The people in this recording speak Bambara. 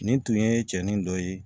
Nin tun ye cɛnin dɔ ye